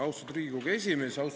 Austatud Riigikogu aseesimees!